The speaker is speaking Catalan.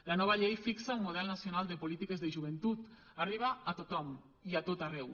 la nova llei fixa un model nacional de polítiques de joventut arriba a tothom i a tot arreu